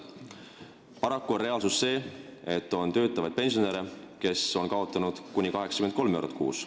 Paraku on reaalsus see, et on töötavaid pensionäre, kes kaotavad kuni 83 eurot kuus.